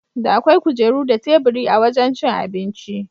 Da akwai kujera da teburi a wajan cin abinci.